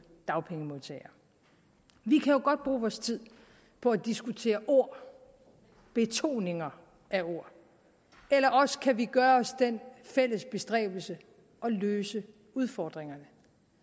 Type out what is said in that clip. dagpengemodtagere vi kan godt bruge tid på at diskutere ord og betoninger af ord eller også kan vi gøre os den fælles bestræbelse at løse udfordringerne